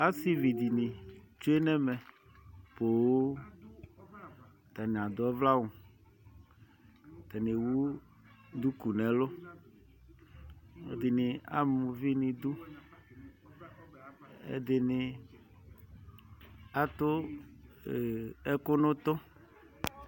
Asivi dini tsoe nɛmɛ poo Atani adʋ ɔvlɛ'awuAtani ewu duku nɛlʋƐdini amuvi niduƐdini atu ɛɛɛ, ɛkʋ nʋ utu